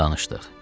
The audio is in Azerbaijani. Danışdıq.